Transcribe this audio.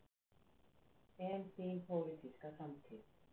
Þóra: En þín pólitíska framtíð?